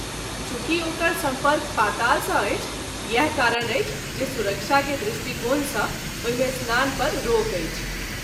चुँकि ओकर सम्पर्क पाताल सँ अछि इएह कारण अछि जे सुरक्षा के दृष्टिकोण सँ ओहि मे स्नान पर रोक अछि।